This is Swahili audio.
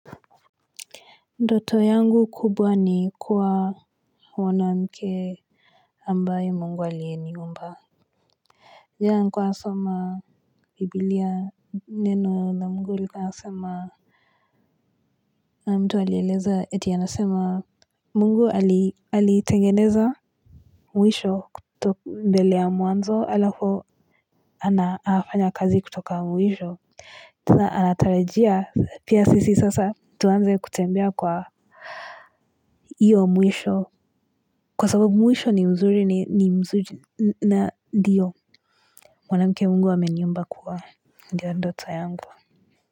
Ndoto yangu kubwa ni kuwa mwanamke ambaye mungu aliniumba yeah nilikuwa nasoma bibilia neno na mungu ilikuwa inasema na mtu alieleza eti anasema mungu alitengeneza mwisho kutoku mbele ya mwanzo halafu anafanya kazi kutoka mwisho tena anatarajia pia sisi sasa tuanze kutembea kwa iyo mwisho. Kwa sababu mwisho ni mzuri ni mzuri na ndio mwanamke mungu ameniumba kuwa ndiyo ndoto yangu.